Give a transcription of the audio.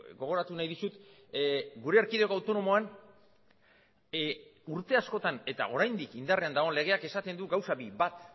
gogoratu nahi dizut gure erkidego autonomoan urte askotan eta oraindik indarrean dagoen legeak esaten du gauza bi bat